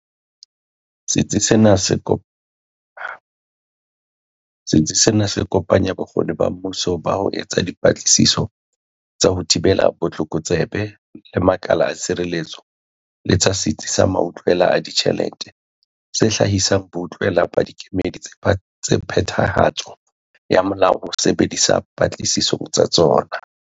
Setsi sena se kopanya bokgoni ba mmuso ba ho etsa dipatlisiso tsa ho thibela botlokotsebe le makala a tshireletso le tsa Setsi sa Mautlwela a Ditjhelete, se hlahisang boutlwela ba dikemedi tsa phethahatso ya molao ho bo sebedisa patlisisong tsa tsona.